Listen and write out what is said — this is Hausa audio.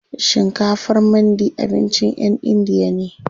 Shinkafar mandi abincin ƴan indiya ne.